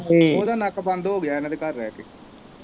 ਓਦਾ ਨੱਕ ਬੰਦ ਹੋਗਿਆ ਇਹਨਾਂ ਦੇ ਘਰ ਰਹਿ ਕੇ।